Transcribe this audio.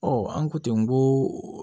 an ko ten n ko